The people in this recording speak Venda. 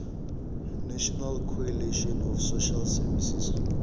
national coalition of social services